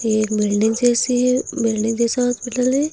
ये एक बिल्डिंग जैसी है। बिल्डिंग जैसा हॉस्पिटल है।